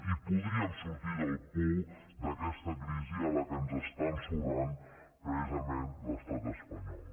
i podríem sortir del pou d’aquesta crisi a la qual ens està ensorrant precisament l’estat espanyol